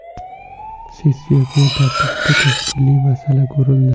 Sessiya kun tartibida tashkiliy masala ko‘rildi.